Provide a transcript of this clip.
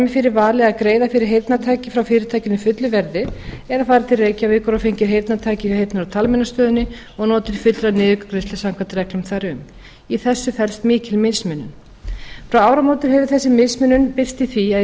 fyrir vali að greiða fyrir heyrnartæki frá fyrirtækinu fullu verði eða farið til reykjavíkur og fengið heyrnartæki frá heyrnar og talmeinastöðinni og notið fullrar niðurgreiðslu samkvæmt reglum þar um í þessu felst mikil mismunun frá áramótum hefur þessi mismunun birst í því að í